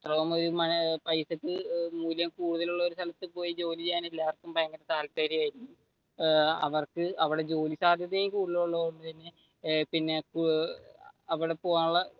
അത്രോം ഒരു പൈസക്ക് മൂല്യം കൂടുതലുള്ള സ്ഥലത്തു പോയി ജോലി ചെയ്യാൻ എല്ലാര്ക്കും ഭയങ്കര താല്പര്യം ആയിരിക്കും. അവർക്ക് അവിടെ ജോലി സാധ്യത കൂടുതൽ ഉള്ളത് കൊണ്ട് തന്നെ പിന്നെ അവിടെ പോകാനുള്ള